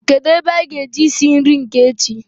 Kedụ ebe anyị ga-eje isi nri nke echi